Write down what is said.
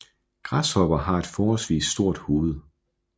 Græshopper har et forholdsvis stort hoved